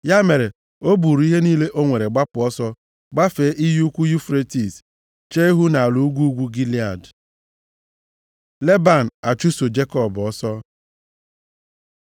Ya mere, o buru ihe niile o nwere gbapụ ọsọ, gbafee iyi ukwu Yufretis, chee ihu nʼala ugwu ugwu Gilead. Leban achụso Jekọb ọsọ